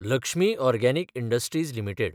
Lakshmi organic industries limited